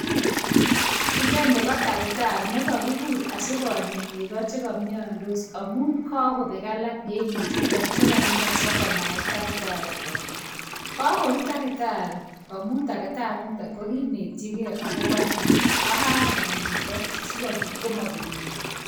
Inoni ko takitari nekokikuur asikonyaa nekoo chekomiondoos, amun kokobek alak en nechutok chekomioso komai takitari konyaa, kakorut takitarii amun takitari initok ko kinetyiigei akobo ni, ak kakonyaa nekoo chichi sikobiit komobeek negoo.